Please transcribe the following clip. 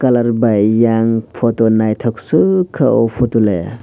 colour bai yang photo naithok sukha oh photo le.